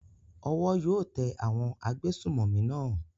Owó yóò tẹ àwọn agbésùnmọ̀mí náà.